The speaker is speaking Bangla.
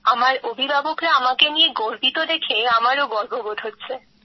আমার অভিভাবকরা আমাকে নিয়ে গর্বিত দেখে আমারও গর্ববোধ হচ্ছে